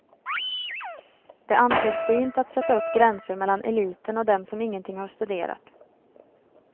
Det anses fint att sätta upp gränser mellan eliten och dem som ingenting har studerat.